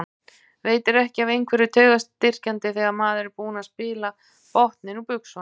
Veitir ekki af einhverju taugastyrkjandi þegar maður er búinn að spila botninn úr buxunum.